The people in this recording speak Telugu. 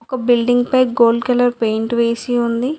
ఒక బిల్డింగ్ పై గోల్డ్ కలర్ పెయింట్ వేసి ఉంది.